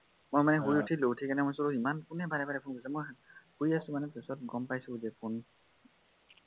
মই মানে শুই উঠিলো উঠি কেনে ভাবিছো ইমান কোনে বাৰে বাৰে ফোন কৰিছে মই শুই আছো মানে তাৰপাছত গম পাইছো যে